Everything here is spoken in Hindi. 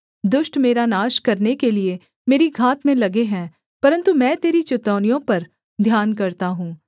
दुष्ट मेरा नाश करने के लिये मेरी घात में लगे हैं परन्तु मैं तेरी चितौनियों पर ध्यान करता हूँ